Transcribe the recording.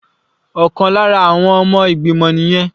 Ọ̀kan lára àwọn ọmọ ìgbìmọ̀ nìyẹn.